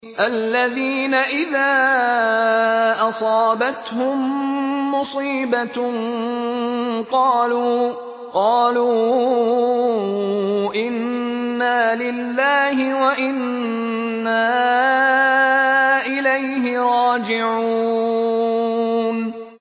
الَّذِينَ إِذَا أَصَابَتْهُم مُّصِيبَةٌ قَالُوا إِنَّا لِلَّهِ وَإِنَّا إِلَيْهِ رَاجِعُونَ